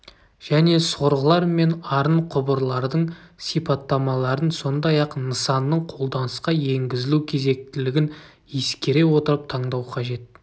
және сорғылар мен арын құбырлардың сипаттамаларын сондай-ақ нысанның қолданысқа енгізілу кезектілігін ескере отырып таңдау қажет